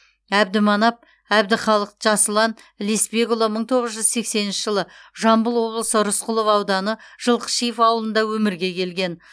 әбдіманап әбдіхалық жасұлан лесбекұлы мың тоғыз жүз сексенінші жылы жамбыл облысы рысқұлов ауданы жылқышиев ауылында өмірге келген